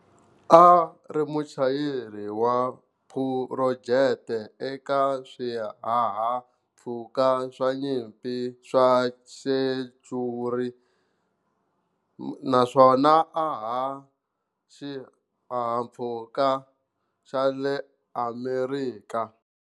A a ri muchayeri wa phurojeke eka swihahampfhuka swa nyimpi swa Century naswona a haha xihahampfhuka xa le Amerika.